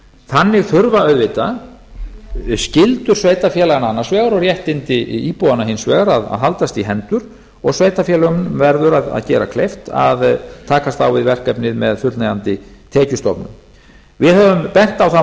þannig þurfa auðvitað skyldur sveitarfélaganna annars vegar og réttindi íbúanna hins vegar að haldast í hendur og sveitarfélögunum að gera kleift að takast á við verkefnið með fullnægjandi tekjustofnum við höfum bent á þann